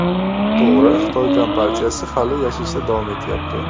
To‘g‘ri, Xitoy kompartiyasi hali yashashda davom etyapti.